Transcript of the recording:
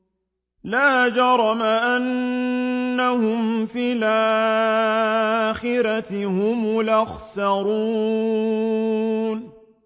لَا جَرَمَ أَنَّهُمْ فِي الْآخِرَةِ هُمُ الْأَخْسَرُونَ